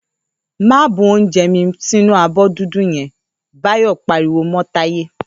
‘Má bu oúnje̩ mi sínú abó̩ dúdú ye̩n!’, Báyò̩ pariwo mó̩ Táyé